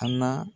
A na